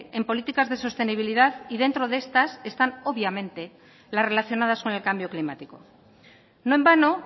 en políticas de sostenibilidad y dentro de estas están obviamente las relacionadas con el cambio climático no en vano